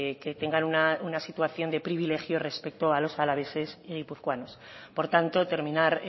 que tengan una situación de privilegio respecto a los alaveses y guipuzcoanos por tanto terminar